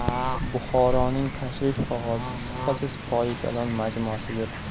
Buxoroning tashrif qog‘ozi, shubhasiz, Poyi Kalon majmuasidir.